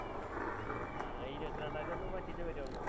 ആ ഈ ഇരുപത്തിരണ്ടാം തീയ്യതി ഒന്ന് പറ്റിണ്ടേ വരുവണ്ടോ